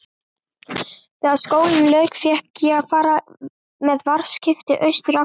Þegar skólanum lauk fékk ég far með varðskipi austur aftur.